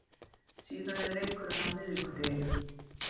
Síðan er leikurinn á miðvikudeginum.